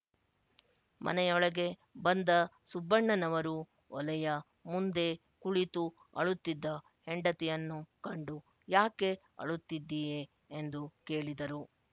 ಮನೆಯೊಳಗೆ ಬಂದ ಸುಬ್ಬಣ್ಣನವರು ಒಲೆಯ ಮುಂದೆ ಕುಳಿತು ಆಳುತ್ತಿದ್ದ ಹೆಂಡತಿಯನ್ನು ಕಂಡು ಯಾಕೆ ಅಳುತ್ತಿದ್ದೀಯೆ ಎಂದು ಕೇಳಿದರು